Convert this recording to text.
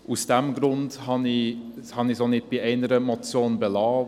Aus diesem Grund habe ich es auch nicht bei einer Motion belassen.